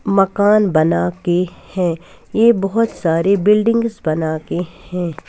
मकान बना के हैं ये बहुत सारे बिल्डिंग्स बना के हैं।